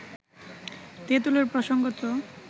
তেঁতুলের প্রসঙ্গ তো